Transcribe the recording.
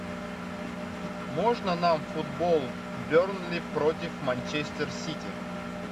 можно нам футбол бернли против манчестер сити